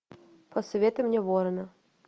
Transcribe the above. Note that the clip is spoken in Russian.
посоветуй мне ворона